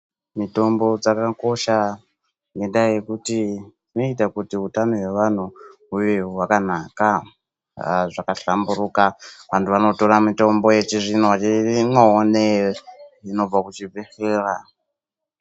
Mitombo dzakakosha, ngendaa yekuti dzinoita kuti hutano hwevanhu huve hwakanaka zvakahlamburika. Antu anotora mitombo yechizvino-zvino inobva kuchibhedhlera.